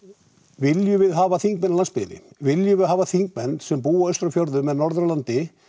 viljum við hafa þingmenn af landsbyggðinni viljum við hafa þingmenn sem búa austur á fjörðum eða norður á landi